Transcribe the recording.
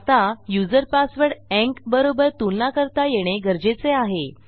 आता user password ENC बरोबर तुलना करता येणे गरजेचे आहे